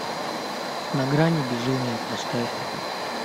на грани безумия поставь